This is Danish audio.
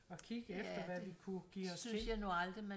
Og kigge efter hvad vi kunne give os til